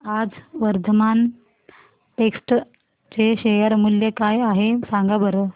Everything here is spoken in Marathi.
आज वर्धमान टेक्स्ट चे शेअर मूल्य काय आहे सांगा बरं